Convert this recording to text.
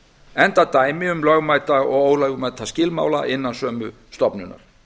enda dæmi um lögmæta og ólögmæta skilmála innan sömu stofnunar